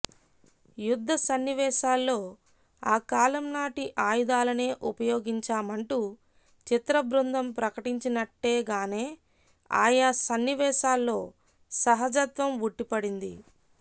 యుద్ధ సన్నివేశాల్లో ఆ కాలంనాటి ఆయుధాలనే ఉపయోగించామంటూ చిత్రబృందం ప్రకటించినట్టేగానే ఆయా సన్నివేశాల్లో సహజత్వం ఉట్టిపడింది